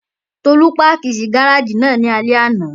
Tolú páàkì sí gáràjì náà ní alẹ́ àná